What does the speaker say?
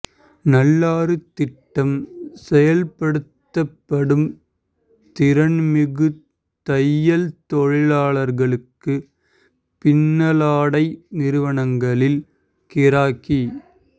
நல்லாறு திட்டம் செயல்படுத்தப்படும் திறன்மிகு தையல் தொழிலாளர்களுக்கு பின்னலாடை நிறுவனங்களில் கிராக்கி